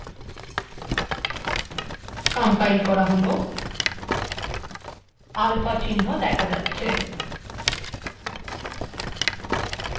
alpha চিহ্ন দেখা যাচ্ছে